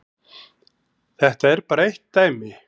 Þetta er bara eitt dæmi.